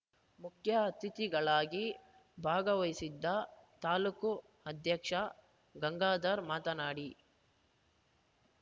ಮುಖ್ಯ ಅತಿಥಿಗಳಾಗಿ ಭಾಗವಹಿಸಿದ್ದ ತಾಲ್ಲೂಕು ಅಧ್ಯಕ್ಷ ಗಂಗಾಧರ್ ಮಾತನಾಡಿ